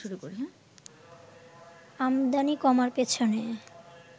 আমদানি কমার পেছনে